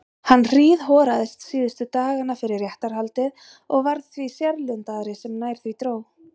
Hann hríðhoraðist síðustu dagana fyrir réttarhaldið og varð því sérlundaðri sem nær því dró.